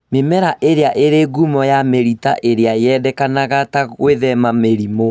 Mĩmera ĩrĩa ĩrĩ ngumo ya mĩrita ĩrĩa yendekanaga ta gwĩthema mĩrimũ